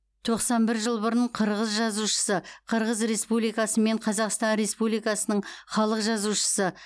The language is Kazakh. тоқсан бір жыл бұрын қырғыз жазушысы қырғыз республикасы мен қазақстан республикасының халық жазушысы